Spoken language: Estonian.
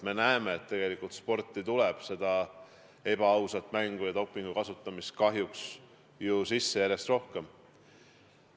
Me näeme, et sporti tuleb ebaausat mängu ja dopingu kasutamist kahjuks sisse järjest rohkem.